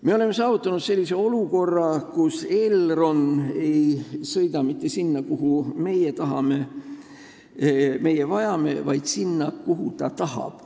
Me oleme saavutanud olukorra, kus Elroni rongid ei sõida mitte sinna, kuhu meie tahame, mida meil vaja on, vaid sinna, kuhu Elron tahab.